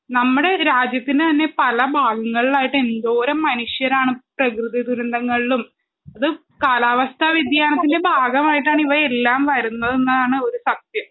നമ്മടെ രാജ്യത്തിന് തന്നെ പല ഭാഗങ്ങൾലായിട്ട് എന്തോരം മനുഷ്യരാണ് പ്രകൃതി ദുരന്തങ്ങൾലും അത് കാലാവസ്ഥ വ്യതിയാനത്തിൻ്റെ ഭാഗമായിട്ടാണ് ഇവയെല്ലാം വരുന്നെതെന്നാണ് ഒരു സത്യം